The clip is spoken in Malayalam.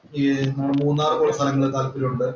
ഈ മൂന്നാറ് പോലുള്ള സ്ഥലങ്ങള് താല്പര്യം ഉണ്ട്.